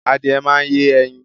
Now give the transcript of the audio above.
Adìẹ máa yẹ ẹyin